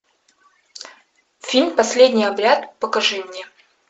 фильм последний обряд покажи мне